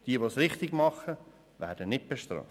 Wer es richtig macht, wird nicht bestraft.